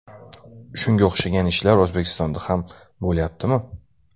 Shunga o‘xshagan ishlar O‘zbekistonda ham bo‘lyaptimi?